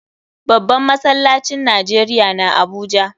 Babban masallacin Najeriya na Abuja.